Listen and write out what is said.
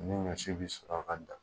Ni ɲɔsi bɛ sɔrɔ ka dan